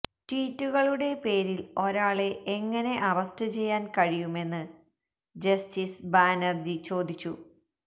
ട്വീറ്റുകളുടെ പേരിൽ ഒരാളെ എങ്ങനെ അറസ്റ്റ് ചെയ്യാൻ കഴിയുമെന്ന് ജസ്റ്റിസ് ബാനർജി ചോദിച്ചു